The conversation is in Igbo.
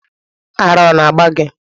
Ara ona agba gi?